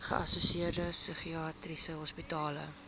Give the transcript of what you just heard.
geassosieerde psigiatriese hospitale